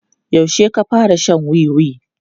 Yaushe ka fara shan wiwi?